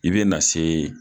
I bɛ na se